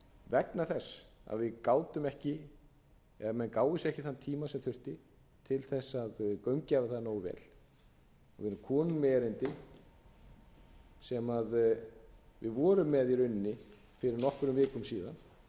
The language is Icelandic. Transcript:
vegna þess að við gátum eða menn gáfu sér ekki þann tíma sem þurfti til þess að gaumgæfa það nógu vel við erum komin með erindi sem við vorum með í rauninni fyrir nokkrum vikum síðan